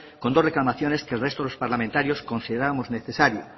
con dos reclamaciones que el resto de los parlamentarios considerábamos necesaria